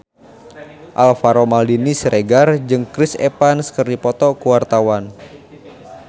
Alvaro Maldini Siregar jeung Chris Evans keur dipoto ku wartawan